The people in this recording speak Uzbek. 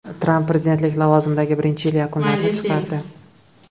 Tramp prezidentlik lavozimidagi birinchi yili yakunlarini chiqardi.